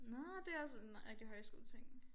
Nåh det også en rigtig højskoleting